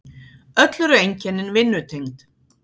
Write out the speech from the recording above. Öll eru einkennin vinnutengd.